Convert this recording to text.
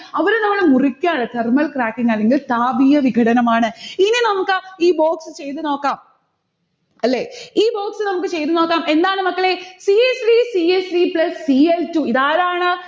അവരെ നമ്മള് മുറിക്കയാണ് thermal cracking ആണെങ്കിൽ താപീയ വികടനമാണ്. ഇനി നമ്മക്ക് ഈ box ചെയ്തുനോക്കാം. അല്ലെ? ഈ box നമ്മുക്ക് ചെയ്തുനോക്കാം. എന്താണ് മക്കളെ. c l three c l three plis cl two ഇതാരാണ്